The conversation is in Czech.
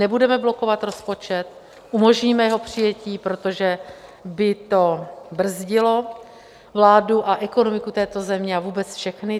Nebudeme blokovat rozpočet, umožníme jeho přijetí, protože by to brzdilo vládu a ekonomiku této země a vůbec všechny.